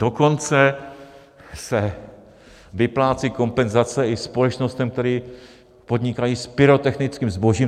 Dokonce se vyplácí kompenzace i společnostem, které podnikají s pyrotechnickým zbožím.